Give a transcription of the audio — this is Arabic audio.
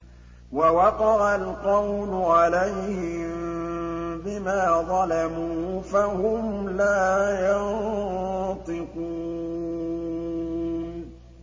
وَوَقَعَ الْقَوْلُ عَلَيْهِم بِمَا ظَلَمُوا فَهُمْ لَا يَنطِقُونَ